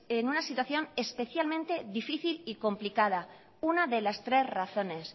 en una situación especialmente difícil y complicada una de las tres razones